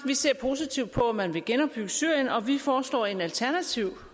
positivt på at man vil genopbygge syrien og vi foreslår en alternativ